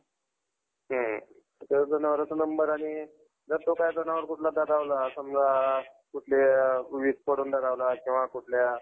अं bank चं अं आज घरचे म्हणत होते bank मध्ये हे कर अं degree कर degree कर. थोडी माहिती, काहीच माहिती नाही. चाललंय फक्त चाललंय.